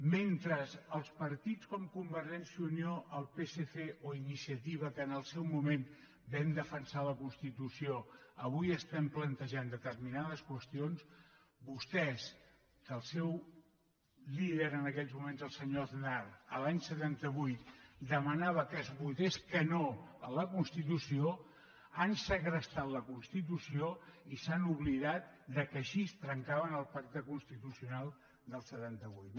mentre els partits com convergència i unió el psc o iniciativa que en el seu moment vam defensar la constitució avui estem plantejant determinades qüestions vostès que el seu líder en aquells moments el senyor aznar l’any setanta vuit demanava que es votés que no a la constitució han segrestat la constitució i s’han oblidat que així trencaven el pacte constitucional del setanta vuit